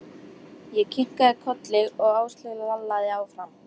Ég kinkaði kolli og Áslaug lallaði áfram.